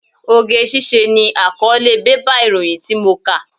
Oge ṣíṣe ni àkọ́ọ́lé bébà ìròyìn tí mo kà.